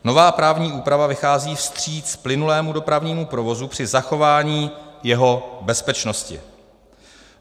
Nová právní úprava vychází vstříc plynulému dopravnímu provozu při zachování jeho bezpečnosti.